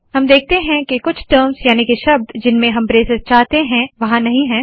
हम देखते है के कुछ टर्म्ज़ याने के शब्द जिनमें हम ब्रेसेस चाहते है वहाँ नहीं है